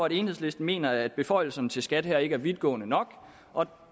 at enhedslisten mener at beføjelserne til skat her ikke er vidtgående nok og